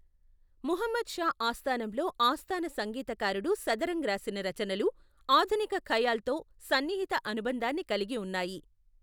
ముహమ్మద్ షా ఆస్థానంలో ఆస్థాన సంగీతకారుడు సదరంగ్ రాసిన రచనలు ఆధునిక ఖయాల్తో సన్నిహిత అనుబంధాన్ని కలిగి ఉన్నాయి.